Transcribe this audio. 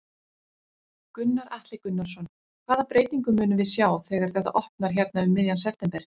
Gunnar Atli Gunnarsson: Hvaða breytingu munum við sjá þegar þetta opnar hérna um miðjan september?